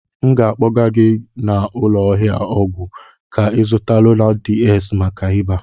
M ga-akpọga gị n'ụlọ ahịa ọgwụ ka ị zuta Lonat DS maka ịba.